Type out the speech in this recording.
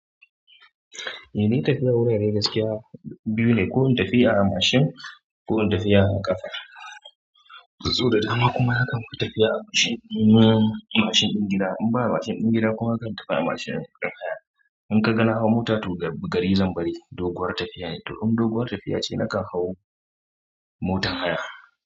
Eh, ni tafiya wurare gaskiya biyu ne, ko in tafi a machine ko in tafi a ƙafa. Sau da dama kuma na kan tafiya a mashin, machine ɗin gida. In ba a machine ɗin gida kuma zan tafiya a machine ɗin haya. In ka ga na hau mota to gari zan bari, doguwar tafiya ne. To in doguwar tafiya ce na kan hau motan haya.